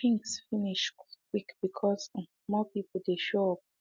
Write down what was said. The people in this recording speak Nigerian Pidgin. drinks finish quick quick because um more people dey show up